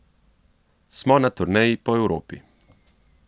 Smo na turneji po Evropi.